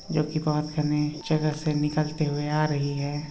जोकि बहोत किरणें जगह से निकलते हुए आ रही हैं।